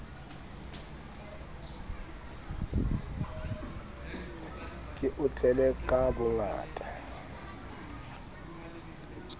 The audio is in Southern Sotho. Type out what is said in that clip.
ke o tlele ka bohlanya